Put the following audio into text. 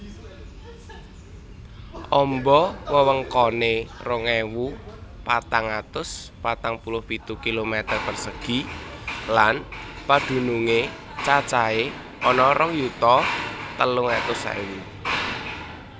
Amba wewengkoné rong ewu patang atus patang puluh pitu kilometer persegi lan padunungé cacahé ana rong yuta telung atus ewu